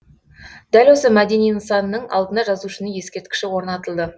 дәл осы мәдени нысанның алдына жазушының ескерткіші орнатылды